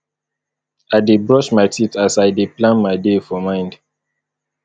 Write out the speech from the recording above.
i dey brush my teeth as i dey plan my day for mind